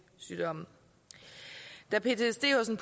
sygdomme da ptsd hos en